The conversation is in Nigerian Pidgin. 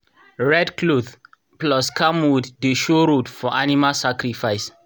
red cloth plus camwood dey show road for animal sacrifice.